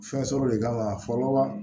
Fɛnsɔrɔ de kama fɔlɔ